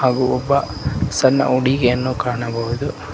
ಹಾಗು ಒಬ್ಬ ಸಣ್ಣ ಹುಡುಗಿಯನ್ನು ಕಾಣಬಹುದು.